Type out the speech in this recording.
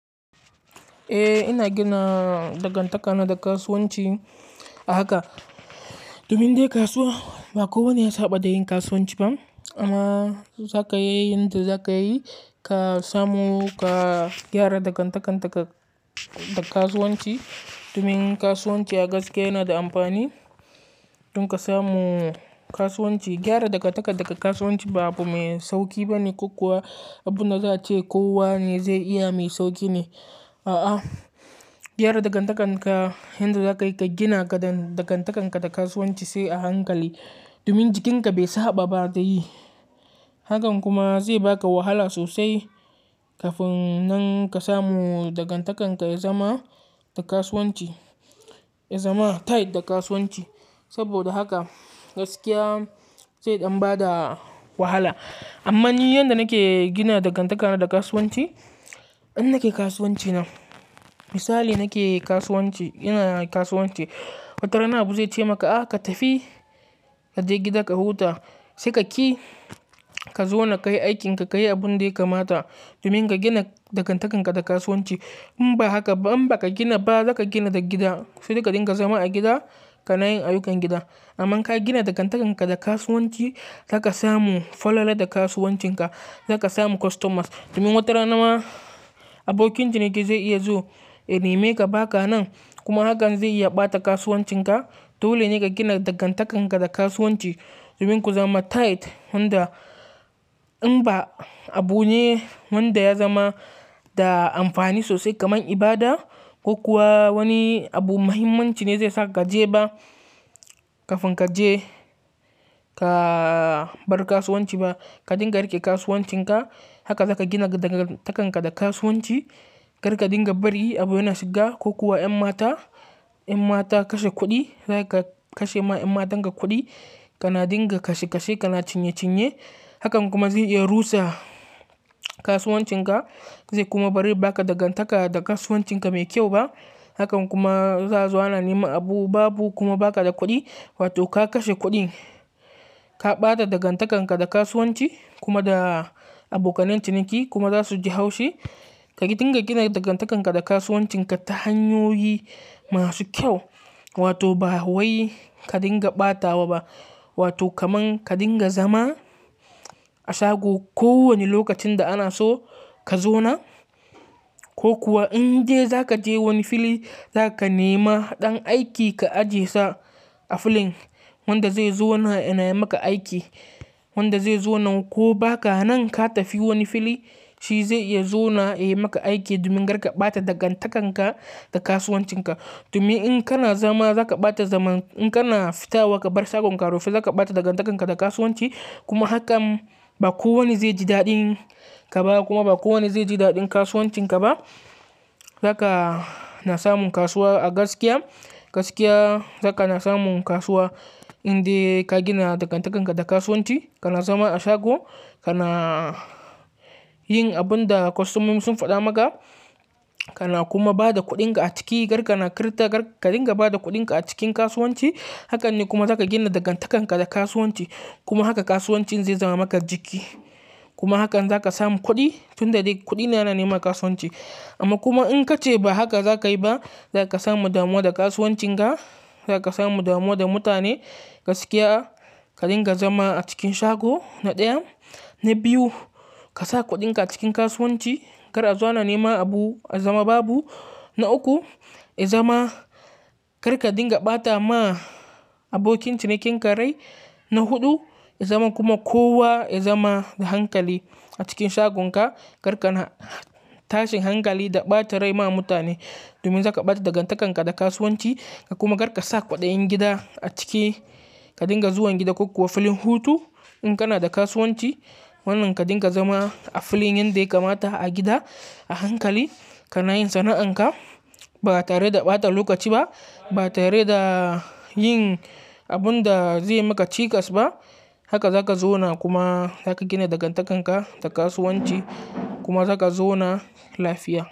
Eh, ina gina dangantakar na da kasuwanci a haka. Domin dai kasuwa ba kowane ya saba da yin kasuwanci ba. Amma zaka yi yanda zaka yi, ka samu ka gyara dangantakar ka da kasuwanci. Domin yin kasuwanci a gaske yana da amfani. Tun ka samu kasuwanci, gyara dangantakar daga kasuwanci ba abu mai sauki ba ne ko kuwa abun da za a ce kowa ne zai iya mai sauki ne. A'a, gyara dangantakar ka yanda za ka yi, ka gina dangantakar ka da kasuwanci sai a hankali. Domin jikinka bai saba ba da yi. Hakan kuma zai baka wahala sosai kafin nan ka samu dangantakar ka ya zama da kasuwanci, ya zama tight da kasuwanci. Saboda haka gaskiya sai dan bayar da wahala. Amma ni yanda nake gina dangantakar na da kasuwanci, in nake kasuwanci na, misali nake kasuwanci, ina kasuwanci, watarana abu zai ce maka "a ka tafi ka je gida ka huta, sai ka ki ka zo na kai aikin ka, ka yi abun da ya kamata domin ka gina dangantakar ka da kasuwanci." In ba haka, in ba ka gina ba, za ka gina da gida. Sai ka dinga zama a gida ka na yin ayyukan gida. Amma in ka gina dangantakar ka da kasuwanci, za ka samu fallala da kasuwancin ka. Za ka samu customers. Domin wata rana ma abokin ciniki zai iya zo ya nema ka baka nan. Kuma hakan zai ya ɓata kasuwancin ka. Dole ne ka gina dangantakar ka da kasuwanci. Domin ku zama tight. Wanda in ba abu ne wanda ya zama da amfani sosai kamar ibada ko kuwa wani abu muhimmanci ne zai sa ka je ba, kafin ka je ka bar kasuwanci ba. Ka dinga riƙe kasuwancin ka. Haka za ka gina dangantakar ka da kasuwanci. Karka dinga bari abu yana shiga ko kuwa 'yan mata, 'yan mata kashe kuɗi, zaka kashe ma 'yan matan ka kuɗi, kana dinga kashe kashe, kana cinye cinye. Hakan kuma zai iya rusa kasuwancin ka. Zai kuma bari baka dangantaka da kasuwancin ka mai kyau ba. Hakan kuma za zuwa na nema abu babu kuma baka da kuɗi. Wato ka kashe kuɗin, ka ɓata dangantakar ka da kasuwanci kuma da abokanen ciniki kuma za su ji haushi. Ka dinga gina dangantakar ka da kasuwancin ka ta hanyoyi masu kyau. Wato ba wai ka dinga ɓatawa ba. Wato kaman ka dinga zama a shago ko wane lokacin da ana so ka zo nan. Ko kuwa in je za ka je wani fili, za ka nema ɗan aiki ka ajiye sa a filin wanda zai zo na yi maka aiki, wanda zai zo nan ko ba ka nan ka tafi wani fili, shi zai iya zo na yi maka aiki domin kar ka ɓata dangantakar ka da kasuwancin ka. Domin in kana zama za ka ɓata zaman, in kana fita wa ka bar shagon ka rufi, za ka ɓata dangantakar ka da kasuwanci. Kuma hakan ba kowa ne zai ji daɗin ka ba kuma ba kowane zai ji daɗin kasuwancin ka ba. Zaka na samun kasuwa a gaskiya. Gaskiya za ka na samun kasuwa in dai ka gina dangantakar ka da kasuwanci. Ka na zama a shago, ka na yin abun da customers sun faɗa maka, ka na kuma bada kuɗin ka a ciki. Karka na karɓa, ka dinga bada kuɗin ka a cikin kasuwanci. Hakan ne kuma za ka gina dangantakar ka da kasuwanci. Kuma haka kasuwancin zai zama maka jiki. Kuma hakan za ka samu kuɗi. Tun da dai kuɗi yana nema kasuwanci. Amma kuma in ka ce ba haka za ka yi ba, za ka samu damuwa da kasuwancin ka. Za ka samu damuwa da mutane. Gaskiya ka dinga zama a cikin shago, na ɗaya. Na biyu, ka sa kuɗin ka a cikin kasuwanci kar a zuwa nema abu a zama babu. Na uku, ya zama kar ka dinga ɓata ma abokin cinikin ka rai. Na huɗu, ya zama kuma kowa ya zama da hankali a cikin shagon ka. Karka na tashin hankali da ɓata rai ma mutane domin za ka ɓata dangantakar ka da ga kasuwanci. Ka kuma kar ka sa kwaɗayin gida a ciki. Ka dinga zuwan gida ko kuwa filin hutu. In kana da kasuwanci, wannan ka dinga zama a filin yanda ya kamata, a gida, a hankali ka na yin sana'an ka. Ba tare da ɓata lokaci ba, ba tare da yin abun da zai maka cikas ba. Haka za ka zo na kuma za ka gina dangantakar ka da kasuwanci kuma za ka zo na lafiya.